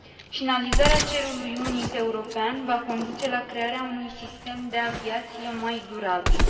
Finalizarea cerului unic european va conduce la creare unui sistem de aviație mai durabil